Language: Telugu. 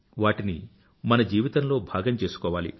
వాటిని మన జీవితంలో భాగం చేసుకోవాలి